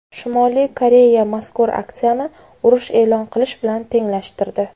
Shimoliy Koreya mazkur aksiyani urush e’lon qilish bilan tenglashtirdi.